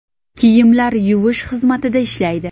Kiyimlar yuvish xizmatida ishlaydi.